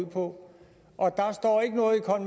ud på